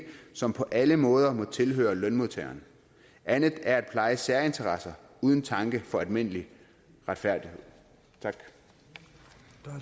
som på alle måder må tilhøre lønmodtagerne andet er at pleje særinteresser uden tanke for almindelig retfærdighed